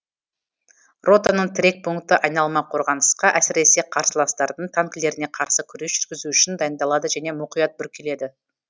ротаның тірек пункті айналма қорғанысқа әсіресе қарсыластардың танкілеріне қарсы күрес жүргізу үшін дайындалады және мұқият бүркеледі